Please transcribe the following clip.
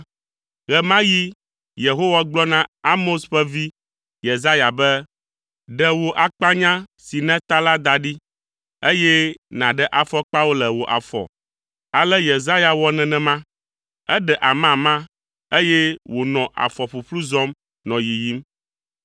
ɣe ma ɣi Yehowa gblɔ na Amoz ƒe vi, Yesaya, be, “Ɖe wò akpanya si nèta la da ɖi, eye nàɖe afɔkpawo le wò afɔ.” Ale Yesaya wɔ nenema; eɖe amama, eye wònɔ afɔ ƒuƒlu zɔm nɔ yiyim.